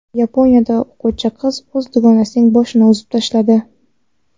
Yaponiyada o‘quvchi qiz o‘z dugonasining boshini uzib tashladi.